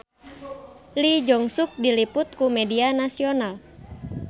Lee Jeong Suk diliput ku media nasional